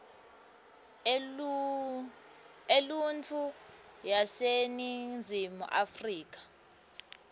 eluntfu yaseningizimu afrika